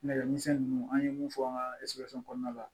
Nɛgɛmisɛnnin ninnu an ye mun fɔ an ka kɔnɔna la